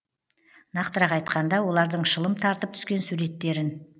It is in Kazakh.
нақтырақ айтқанда олардың шылым тартып түскен суреттерін